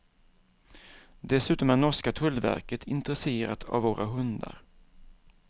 Dessutom är norska tullverket intresserat av våra hundar.